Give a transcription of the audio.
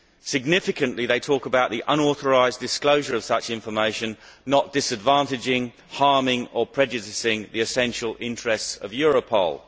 Significantly, they talk about the unauthorised disclosure of such information not disadvantaging, harming or prejudicing the essential interests of Europol.